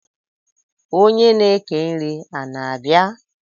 onye na eke nri a na-abia?